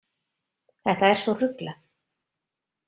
Þetta er svo ruglað.